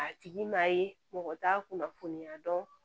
A tigi m'a ye mɔgɔ t'a kunnafoniya dɔn